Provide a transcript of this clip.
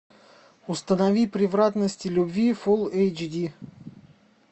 установи превратности любви фул эйч ди